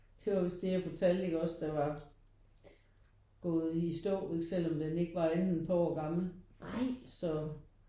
Det var vist det jeg fortalte ikke også der var gået i stå selvom den ikke var andet end et par år gammel så